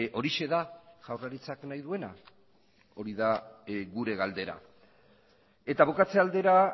horixe da jaurlaritzak nahi duena hori da gure galdera eta bukatze aldera